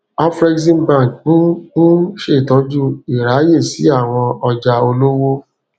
afreximbank n n ṣetọju iraye si awọn ọja olowo